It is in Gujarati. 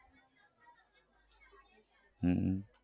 હમ